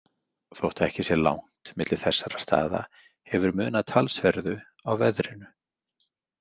Þótt ekki sé langt milli þessara staða hefur munað talsverðu á veðrinu.